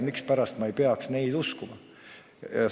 Mispärast ma ei peaks neid uskuma?